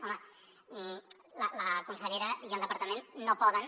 home la consellera i el departament no poden